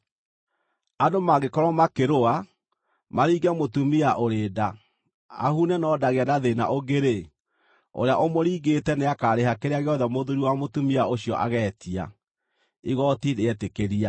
“Andũ mangĩkorwo makĩrũa, maringe mũtumia ũrĩ nda, ahune no ndagĩe na thĩĩna ũngĩ-rĩ, ũrĩa ũmũringĩte nĩakarĩha kĩrĩa gĩothe mũthuuri wa mũtumia ũcio ageetia, igooti rĩetĩkĩria.